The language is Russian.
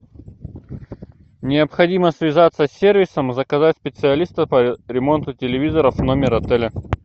необходимо связаться с сервисом заказать специалиста по ремонту телевизоров в номер отеля